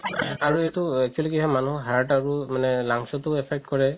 আৰু এইটো actually কি হয় heart আৰু lungs তও affect কৰে